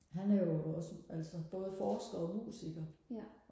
han er jo også altså både forsker og musiker